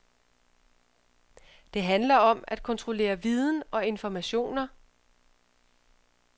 Det handler om at kontrollere viden og informationer.